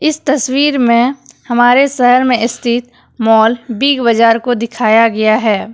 इस तस्वीर में हमारे शहर में स्थित मॉल बिग बाजार को दिखाया गया है।